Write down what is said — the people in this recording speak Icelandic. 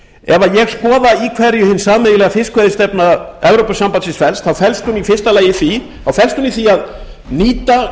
í hverju hin sameiginlega fiskveiðistefna evrópusambandsins felst þá felst hún í því að nýta